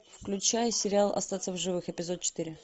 включай сериал остаться в живых эпизод четыре